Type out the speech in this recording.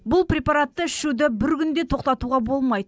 бұл препаратты ішуді бір күн де тоқтатуға болмайды